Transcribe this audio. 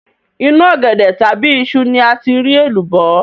Inú ọ̀gẹ̀dẹ̀ tàbí iṣu ni a ti rí èlùbọ́